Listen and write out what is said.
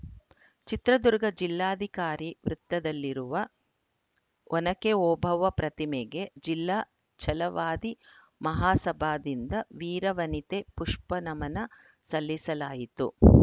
ಚಿತ್ರದುರ್ಗ ಜಿಲ್ಲಾಧಿಕಾರಿ ವೃತ್ತದಲ್ಲಿರುವ ಒನಕೆ ಓಬವ್ವ ಪ್ರತಿಮೆಗೆ ಜಿಲ್ಲಾ ಛಲವಾದಿ ಮಹಾಸಭಾದಿಂದ ವೀರವನಿತೆ ಪುಷ್ಪನಮನ ಸಲ್ಲಿಸಲಾಯಿತು